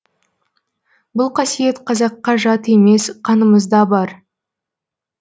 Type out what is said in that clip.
бұл қасиет қазаққа жат емес қанымызда бар